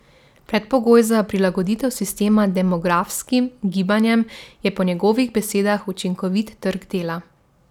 Predpogoj za prilagoditev sistema demografskim gibanjem je po njegovih besedah učinkovit trg dela.